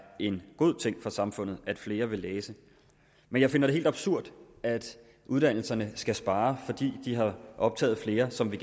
en god ting for samfundet at flere vil læse men jeg finder det helt absurd at uddannelserne skal spare fordi de har optaget flere som vi